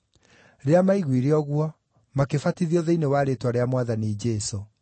Rĩrĩa maaiguire ũguo, makĩbatithio thĩinĩ wa rĩĩtwa rĩa Mwathani Jesũ.